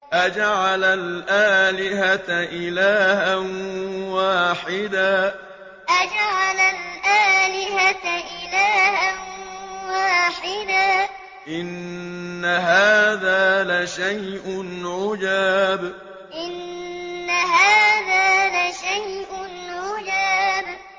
أَجَعَلَ الْآلِهَةَ إِلَٰهًا وَاحِدًا ۖ إِنَّ هَٰذَا لَشَيْءٌ عُجَابٌ أَجَعَلَ الْآلِهَةَ إِلَٰهًا وَاحِدًا ۖ إِنَّ هَٰذَا لَشَيْءٌ عُجَابٌ